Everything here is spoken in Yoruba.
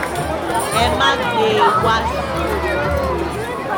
ẹ má gbé e wá sìkòròdú o